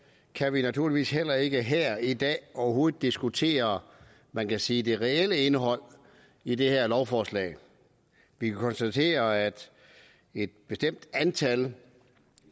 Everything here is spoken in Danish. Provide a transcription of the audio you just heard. kan vi naturligvis heller ikke her i dag overhovedet diskutere man kan sige det reelle indhold i det her lovforslag vi kan konstatere at et bestemt antal